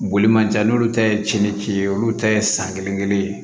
Boli man jan n'olu ta ye cɛnnici ye olu ta ye san kelen kelen ye